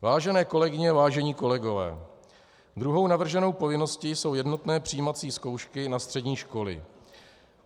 Vážené kolegyně, vážení kolegové, druhou navrženou povinností jsou jednotné přijímací zkoušky na střední školy.